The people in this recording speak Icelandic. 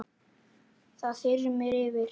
Það þyrmir yfir.